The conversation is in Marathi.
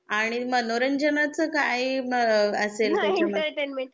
आणि मनोरंजनाचा काय आ असेल त्याच्या मध्ये?